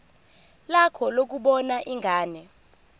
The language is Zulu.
lakho lokubona ingane